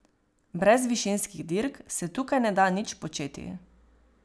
Brez višinskih dirk se tukaj ne da nič početi.